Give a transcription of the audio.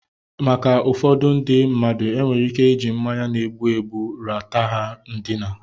Maka ụfọdụ ndị mmadụ, enwere ike iji mmanya na-egbu egbu ra ta ha ndina.